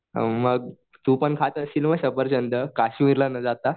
हां मग तू पण खात असशील सफरचंद काश्मीरला न जाता.